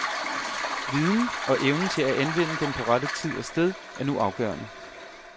Viden, og evnen til at anvende den på rette tid og sted, er nu afgørende.